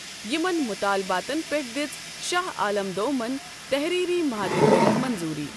یِمن مُطالباتن پیٹھ دِژ شاہ آلم دومن تحریری محادٕ كرِتھ منظوری ۔